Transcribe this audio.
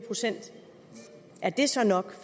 procent er det så nok